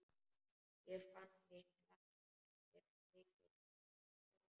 Ég fann fyrir mikilli skömm.